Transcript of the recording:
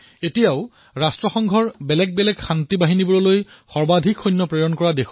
আজিও ৰাষ্ট্ৰসংঘৰ বিভিন্ন শান্তি প্ৰক্ৰিয়া বাহিনীত ভাৰতে সকলোতকৈ অধিক সৈন্য প্ৰেৰণ কৰে